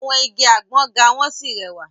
Àwọn igi àgbọ ga wọ́n sì rẹwà.